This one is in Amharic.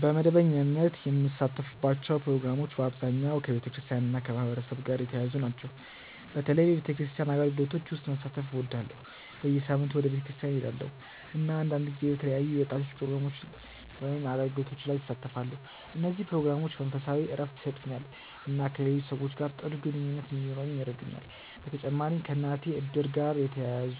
በመደበኛነት የምሳተፍባቸው ፕሮግራሞች በአብዛኛው ከቤተክርስቲያን እና ከማህበረሰብ ጋር የተያያዙ ናቸው። በተለይ በቤተክርስቲያን አገልግሎቶች ውስጥ መሳተፍ እወዳለሁ። በየሳምንቱ ወደ ቤተክርስቲያን እሄዳለሁ፣ እና አንዳንድ ጊዜ በተለያዩ የወጣቶች ፕሮግራሞች ወይም አገልግሎቶች ላይ እሳተፋለሁ። እነዚህ ፕሮግራሞች መንፈሳዊ እረፍት ይሰጡኛል እና ከሌሎች ሰዎች ጋር ጥሩ ግንኙነት እንዲኖረኝ ይረዱኛል። በተጨማሪም ከእናቴ እድር ጋር የተያያዙ